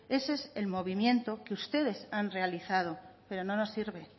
ese es el movimiento que ustedes han realizado pero no nos sirve